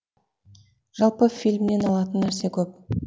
жалпы фильмнен алатын нәрсе көп